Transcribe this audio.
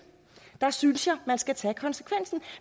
jeg synes man skal tage konsekvensen